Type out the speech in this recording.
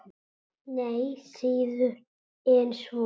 Nei, síður en svo.